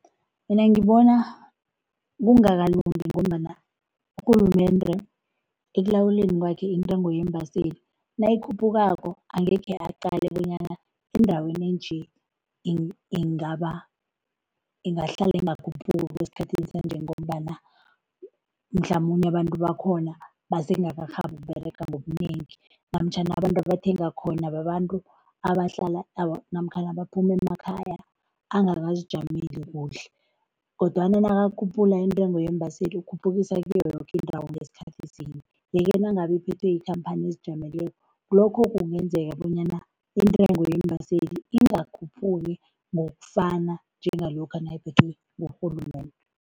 Mina ngibona kungakalungi ngombana urhulumende ekulawuleni kwakhe intengo yeembaseli, nayikhuphukako angekhe aqale bonyana endaweni enje ingahlala ingakhuphuki okwesikhathini sanje ngombana mhlamunye abantu bakhona basengakarhabi ukuberega ngobunengi namtjhana abantu abathenga khona babantu abahlala namkhana baphuma emakhaya angakazijameli kuhle kodwana nakakhuphula intengo yeembaseli khuphukisa kiyo yoke indawo ngesikhathi sinye yeke nangabe iphethwe ikhamphani ezijameleko, lokho kungenzeka bonyana intengo yeembaseli ingakhuphuki ngokufana njengalokha nayiphethwe ngurhulumende.